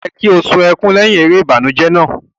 O yẹ ki o sun ẹkùn lẹhin èrè ìbànújẹ náà.